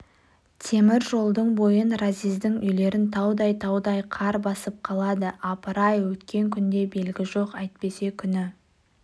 темір жолдың бойын разъездің үйлерін таудай-таудай қар басып қалады апыр-ай өткен күнде белгі жоқ әйтпесе күні